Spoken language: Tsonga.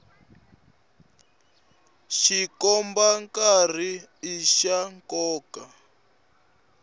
xikomba nkarhi i xa nkoka